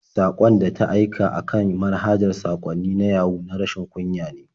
Saƙon da ta aika a kan manhajar saƙwannin na Yahu na rashin kunya ne.